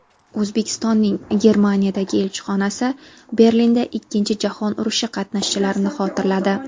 O‘zbekistonning Germaniyadagi elchixonasi Berlinda Ikkinchi jahon urushi qatnashchilarini xotirladi.